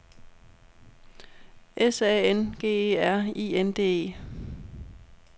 S A N G E R I N D E